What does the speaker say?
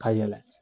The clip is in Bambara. Ka yɛlɛ